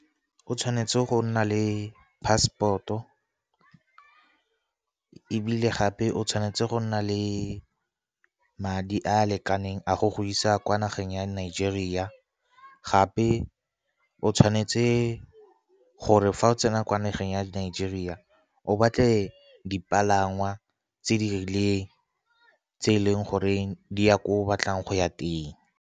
O tshwanetse go nna le passport-o, ebile gape o tshwanetse go nna le madi a a lekaneng a go go isa kwa nageng ya Nigeria. Gape o tshwanetse gore fa o tsena kwa nageng ya Nigeria, o batle dipalangwa tse di rileng, tse e leng gore di ya ko o batlang go ya teng.